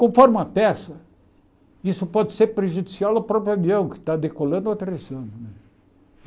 Conforme a peça, isso pode ser prejudicial ao próprio avião que está decolando ou aterrissando.